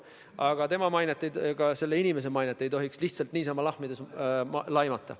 Aga bürood ja seda inimest ei tohiks lihtsalt niisama lahmides laimata.